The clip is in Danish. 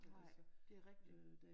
Nej det er rigtig